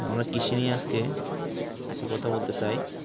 কৃষি নিয়ে আজকে কিছু কথা বলতে চাই